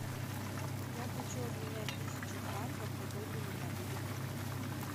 я хочу обменять тысячу франков какой для меня будет курс